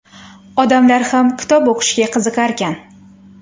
Odamlar ham kitob o‘qishga qiziqarkan.